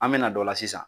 An me na o la sisan